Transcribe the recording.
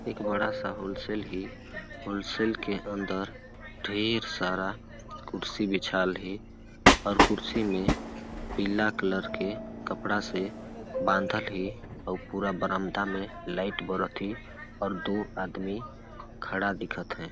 एक बड़ा सा होल सेल है होल सेल के अंदर ढेर सारा कुर्सी बिछाल है और कुर्सी में पीला कलर के कपड़ा से बांधल है अऊ पूरा बरामदा में लाइट बरत है और दो आदमी खड़ा दिखत है।